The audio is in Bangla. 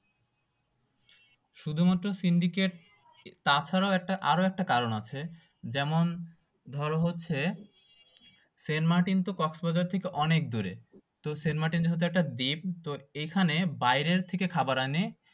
শুধুমাত্র সিন্ডিকেট তাছাড়াও আরো একটা কারণ আছে যেমন ধরো হচ্ছে সেন্ট মার্টিন তো কক্সবাজার থেকে অনেক দূরে সেন্ট মার্টিন হচ্ছে একটা দ্বীপ তো এখানে হচ্ছে বাইরে থেকে খাবার আনে